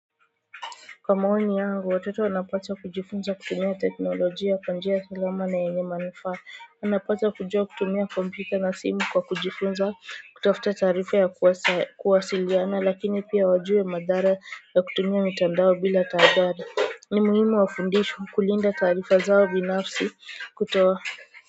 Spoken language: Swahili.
Kwa maoni yangu watoto wanapaswa kujifunza kutumia teknolojia kwa njia salama na yenye manufaa anapaswa kujua kutumia kompyuta na simu kwa kujifunza kutafuta taarifa ya kuwasiliana lakini pia wajue madhara ya kutumia mitandao bila tahadhari ni muhimu wafundishwe kulinda taarifa zao binafsi kutoa.